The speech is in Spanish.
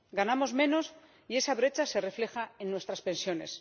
Ganamos menos, y esa brecha se refleja en nuestras pensiones.